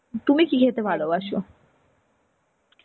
তুমি কি খেতে ভালোবাসো?